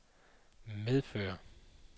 medføre